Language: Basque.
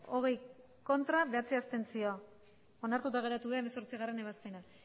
hogei ez bederatzi abstentzio onartuta geratu da hemezortzigarrena ebazpena